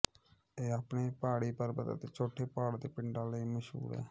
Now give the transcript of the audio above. ਇਹ ਆਪਣੇ ਪਹਾੜੀ ਪਰਬਤ ਅਤੇ ਛੋਟੇ ਪਹਾੜ ਦੇ ਪਿੰਡਾਂ ਲਈ ਮਸ਼ਹੂਰ ਹੈ